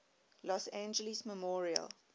los angeles memorial